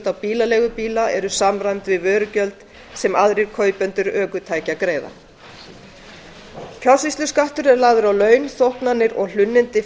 á bílaleigubíla eru samræmd við vörugjöld sem aðrir kaupendur ökutækja greiða fjársýsluskattur sem lagður er á laun þóknanir og hlunnindi